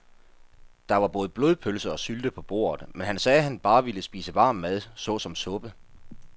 Der var både blodpølse og sylte på bordet, men han sagde, at han bare ville spise varm mad såsom suppe.